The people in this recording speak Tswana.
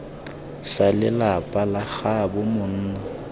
sa lelapa la gaabo monna